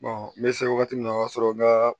n bɛ se wagati min na o y'a sɔrɔ n ka